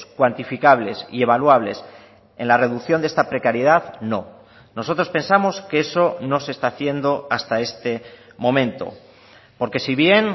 cuantificables y evaluables en la reducción de esta precariedad no nosotros pensamos que eso no se está haciendo hasta este momento porque si bien